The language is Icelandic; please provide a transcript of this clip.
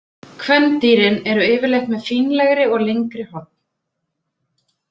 Kvendýrin eru yfirleitt með fínlegri og lengri horn.